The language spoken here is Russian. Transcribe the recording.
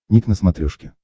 ник на смотрешке